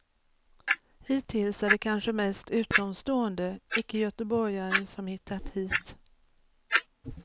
Hittills är det kanske mest utomstående, icke göteborgare, som hittat hit.